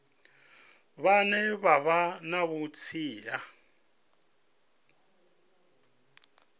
vhane vha vha na vhutsila